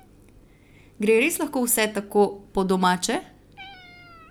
Gre res lahko vse tako po domače?